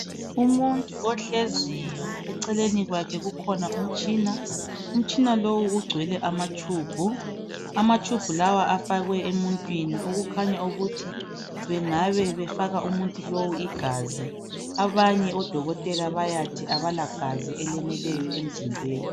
Umuntu ohleziyo eceleni kwakhe kukhona umtshina, umtshina lowu ugcwele amatshubhu, amatshubhu lawa afakwe emuntwini okukhanya ukuthi angaba efaka umuntu lo igazi. Abanye odokotela bayathi abala gazi eleneleyo emzimbeni.